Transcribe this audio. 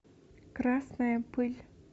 красная пыль